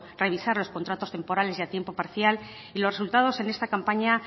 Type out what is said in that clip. revisar los contratos temporales y a tiempo parcial y los resultados en esta campaña